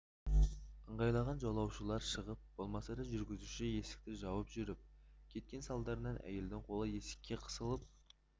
ыңғайланған жолаушылар шығып болмаса да жүргізуші есікті жауып жүріп кеткен салдарынан әйелдің қолы есікке қысылып